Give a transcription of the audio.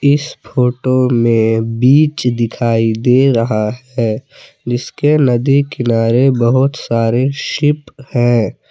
इस फोटो में बीच दिखाई दे रहा है जिसके नदी किनारे बहुत सारे सीप है।